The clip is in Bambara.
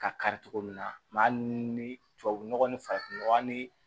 Ka kari cogo min na maa ni tubabu nɔgɔ ni farafin nɔgɔ hali ni